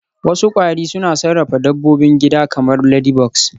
Wasu kwari suna sarrafa dabbobin gida kamar ladybugs